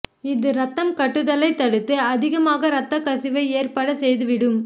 இது இரத்தம் கட்டுதலை தடுத்து அதிகமாக இரத்தக் கசிவு ஏற்பட செய்து விடும்